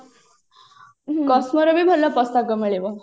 ଭଲ ପୋଷାକ ମିଳିବ